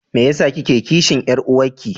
Me yasa kike kishin Yar'uwanki?